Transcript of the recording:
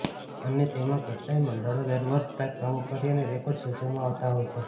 અને તેમાં કેટલાય મંડળો દરવર્ષ કઈક નવું કરી અને રેકોર્ડ સર્જવામાં આવતા હોય છે